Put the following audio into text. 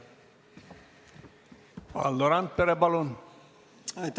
Valdo Randpere, palun!